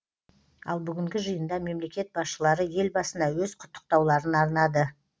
ал бүгінгі жиында мемлекет басшылары елбасына өз құттықтауларын арнады